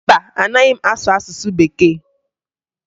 Mba, anaghị m asụ asụsụ Bekee